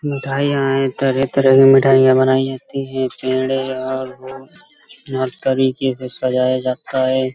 मिठाइयां है | तरह-तरह की मिठाइयां बनाई जाती हैं | पेड़े और वो से सजाया जाता है |